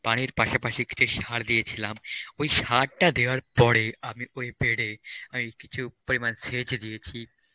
বাড়ির পাশাপাশি কিছু সার দিয়েছিলাম. ওই সার টা দেয়ার পরে আমি ওই bed এ কই কিছু পরিমাণ CHA দিয়েছি